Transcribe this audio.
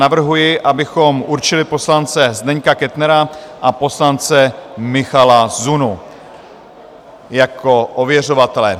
Navrhuji, abychom určili poslance Zdeňka Kettnera a poslance Michala Zunu jako ověřovatele.